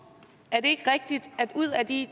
i